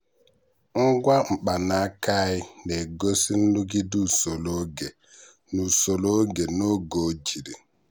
ngwa mkpanaaka anyị na-egosi nrụgide usoro oge na usoro oge na oge ojiri.